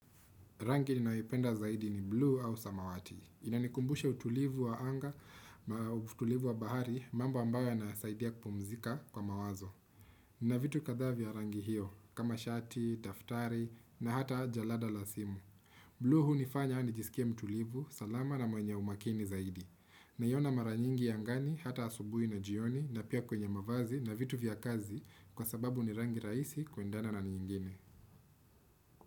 Rangi ninayoipenda zaidi ni blue au samawati. Inanikumbusha utulivu wa anga, utulivu wa bahari, mambo ambayo yanasaidia kupumzika kwa mawazo. Na vitu kadhaa vya rangi hiyo, kama shati, daftari, na hata jalada la simu. Blue hunifanya nijisikie mtulivu, salama na mwenye umakini zaidi. Naiona mara nyingi angani, hata asubui na jioni, na pia kwenye mavazi, na vitu vya kazi, kwa sababu ni rangi raisi kuendana na nyingine.